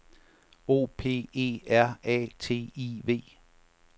O P E R A T I V